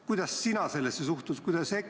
Kuidas sina sellesse suhtud?